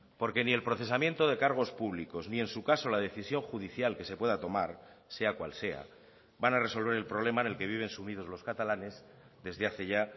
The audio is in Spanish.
porque ni el procesamiento de cargos públicos ni en su caso la decisión judicial que se pueda tomar sea cual sea van a resolver el problema en el que viven sumidos los catalanes desde hace ya